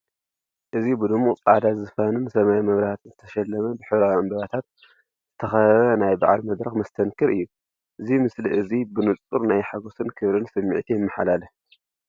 እዚ ብድሙቕ ጻዕዳ ዝፋንን ሰማያዊ መብራህትን ዝተሰለመ፡ ብሕብራዊ ዕምባባታት ዝተኸበበ ናይ በዓል መድረኽ መስተንክር እዩ። እዚ ምስሊ እዚ ብንጹር ናይ ሓጎስን ክብርን ስምዒት የመሓላልፍ።